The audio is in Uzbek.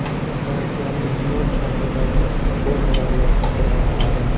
Fransiyaning Lion shahridagi Sona daryosi qirg‘oqlari.